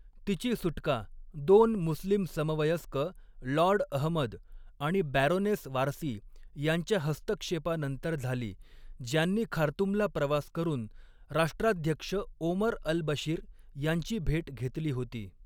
तिची सुटका दोन मुस्लिम समवयस्क, लॉर्ड अहमद आणि बॅरोनेस वारसी यांच्या हस्तक्षेपानंतर झाली, ज्यांनी खार्तूमला प्रवास करून राष्ट्राध्यक्ष ओमर अल बशीर यांची भेट घेतली होती.